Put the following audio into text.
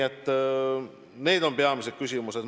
Need on peamised küsimused.